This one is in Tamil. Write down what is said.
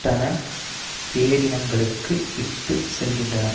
கண்டன பேரணிகளுக்கு இட்டு செல்கின்றன